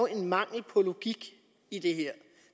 en mangel på logik i det her